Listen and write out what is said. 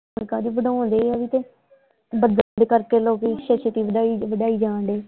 ਕਣਕਾਂ ਵੀ ਵਢਾਉਂਦੇ ਆ ਵੀ ਕੇ ਬੜਾ ਦੇ ਕਰਕੇ ਲੋਕੀਂ ਛੇਤੀ ਛੇਤੀ ਵਢਾਈ ਵਢਾਈ ਜਾਂ ਡਏ।